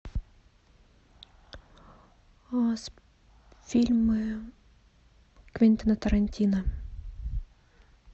фильмы квентина тарантино